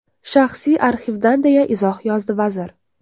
Shaxsiy arxivdan”, deya izoh yozdi vazir.